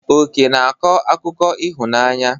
Oke na-akọ akụkọ ịhụnanya.